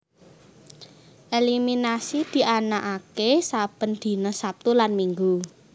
Eliminasi dianaaké saben dina Sabtu lan Minggu